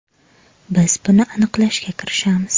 Biz buni aniqlashga kirishamiz.